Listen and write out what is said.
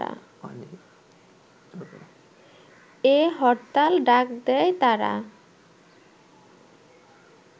এ হরতাল ডাক দেয় তারা